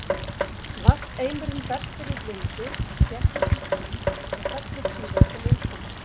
Vatnseimurinn berst fyrir vindi, þéttist í ský og fellur síðan sem úrkoma.